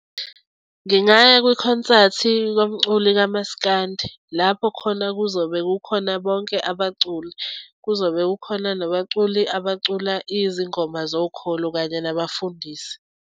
Ngingaya kwikhonsathi komculi kamasikandi, lapho khona kuzobe kukhona bonke abaculi. Kuzobe kukhona nabaculi abacula izingoma zokholo kanye nabafundisi.